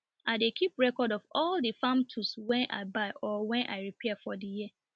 i dey keep record of all the farm tools wen i buy or wen i repair for the year